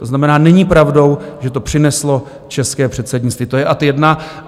To znamená, není pravdou, že to přineslo české předsednictví, to je ad jedna.